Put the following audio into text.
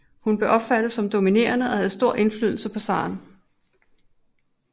Hun blev opfattet som dominerende og havde stor indflydelse på zaren